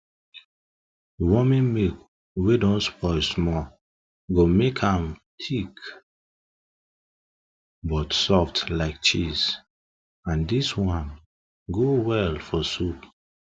warming milk wey don spoil small go make am dey thick dey thick but soft like cheese and dis one go well for soup